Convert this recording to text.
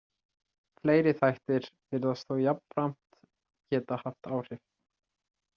Fleiri þættir virðast þó jafnframt geta haft áhrif.